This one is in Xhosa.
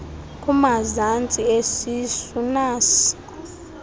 kumazantsi esisu nas